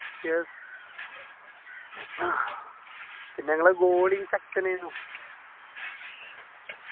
yes അഹ് പിന്നെ നിങ്ങളെ goalie ചെക്കനേനു